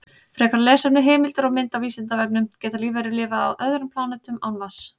Frekara lesefni, heimildir og mynd á Vísindavefnum: Geta lífverur lifað á öðrum plánetum án vatns?